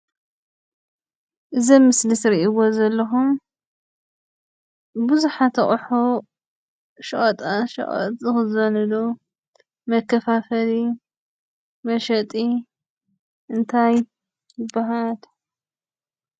እዚ ኣብ ምስሊ ትሪእዎ ዘለኹም ብዙሓት ኣቑሑ ሸቐጣሸቐጥ ዝኽዘንሉ መከፋፈሊ መሸጢ እንታይ ይበሃል?